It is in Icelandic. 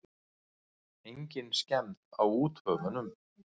Engin skemmd á úthöfunum.